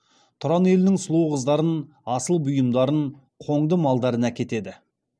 тұран елінің сұлу қыздарын асыл бұйымдарын қоңды малдарын әкетеді